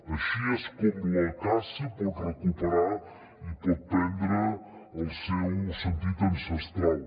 així és com la caça pot recuperar i pot prendre el seu sentit ancestral